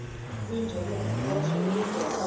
kuyinjabulo nentokozo ukuveza